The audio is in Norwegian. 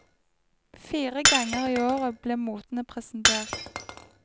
Fire ganger i året ble motene presentert.